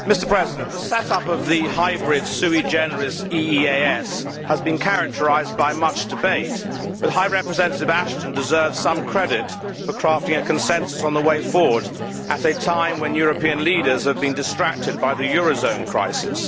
Mr President, the set up of the hybrid EEAS has been characterised by much debate, but High Representative Ashton deserves some credit for crafting a consensus on the way forward at a time when European leaders have been distracted by the eurozone crisis.